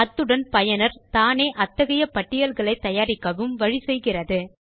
அத்துடன் பயனர் தானே அத்தகைய பட்டியல்களை தயாரிக்கவும் வழி செய்கிறது